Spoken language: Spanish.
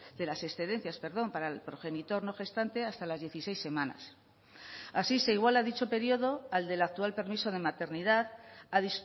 de las excedencias para el progenitor no gestante hasta las dieciséis semanas así se iguala dicho periodo al del actual permiso de maternidad a